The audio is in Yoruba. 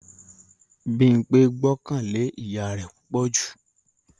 Bímpé gbọ́kàn lé ìyá rẹ̀ púpọ̀ jù